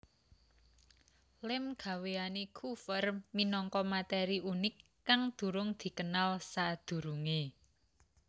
Lem gawéane Coover minangka materi unik kang durung dikenal sadurunge